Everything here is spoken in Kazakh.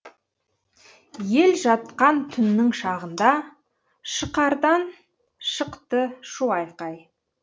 ел жатқан түннің шағында шықардан шықты шу айқай